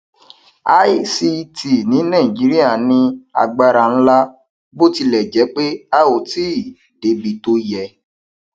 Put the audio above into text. ict ní nàìjíríà ní agbára ńlá bó tilẹ jẹ pé a ò tí ì débi tó yẹ